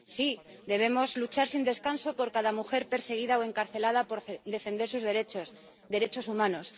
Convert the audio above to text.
Sí, debemos luchar sin descanso por cada mujer perseguida o encarcelada por defender sus derechos, derechos humanos.